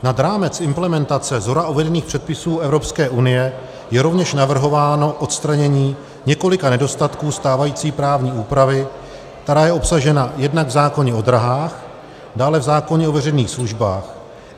Nad rámec implementace shora uvedených předpisů Evropské unie je rovněž navrhováno odstranění několika nedostatků stávající právní úpravy, která je obsažena jednak v zákoně o dráhách, dále v zákoně o veřejných službách.